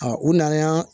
u nan'a